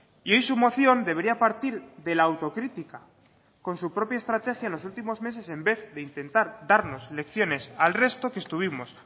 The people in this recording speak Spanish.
y hoy su moción debería partir de la autocrítica con su propia estrategia en los últimos meses en vez de intentar darnos lecciones al resto que estuvimos